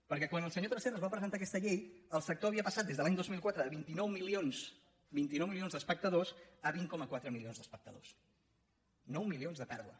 perquè quan el senyor tresserras va presentar aquesta llei el sector havia passat des de l’any dos mil quatre de vint nou milions d’espectadors a vint coma quatre milions d’espectadors nou milions de pèrdua